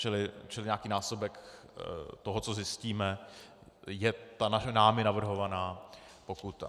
Čili nějaký násobek toho, co zjistíme, je ta námi navrhovaná pokuta.